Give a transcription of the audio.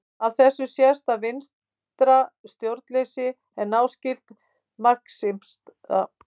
Af þessu sést að vinstra stjórnleysi er náskylt marxisma.